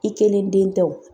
I kelen den tɛ o.